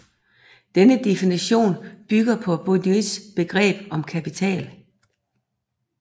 Denne definition bygger på Bourdieus begreb om kapital